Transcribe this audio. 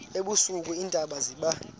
ebusika iintaba ziba